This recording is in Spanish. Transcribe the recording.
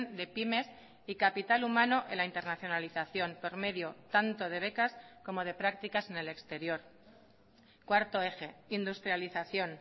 de pymes y capital humano en la internacionalización por medio tanto de becas como de prácticas en el exterior cuarto eje industrialización